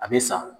A bɛ sa